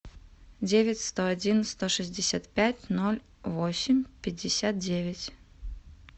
девять сто один сто шестьдесят пять ноль восемь пятьдесят девять